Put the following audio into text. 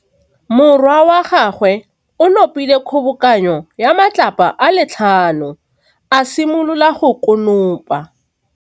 Morwa wa gagwe o nopile kgobokanô ya matlapa a le tlhano, a simolola go konopa.